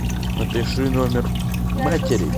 напиши номер матери